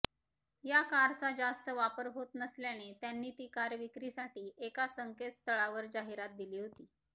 या कारचा जास्त वापर होत नसल्याने त्यांनी ती कार विक्रीसाठी एका संकेतस्थळावर जाहिरात दिली होती